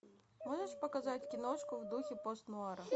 можешь показать киношку в духе пост нуара